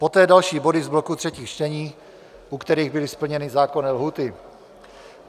Poté další body z bloku třetích čtení, u kterých byly splněny zákonné lhůty.